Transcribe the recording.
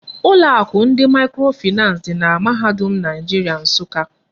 Ụlọ akụ ndị mikrofinans di na mahadum Naijiria Nsụka.